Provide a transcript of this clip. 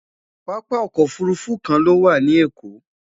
pápá ọkọ̀ òfurufú kàn ló wà nì Èkó